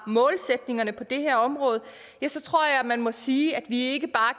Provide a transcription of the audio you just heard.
målsætningerne på det her område ja så tror jeg man må sige at vi ikke bare